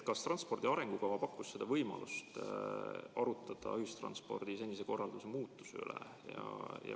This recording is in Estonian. Kas transpordi arengukava pakkus võimaluse arutada ühistranspordi senise korralduse muutmise üle?